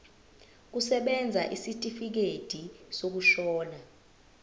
kusebenza isitifikedi sokushona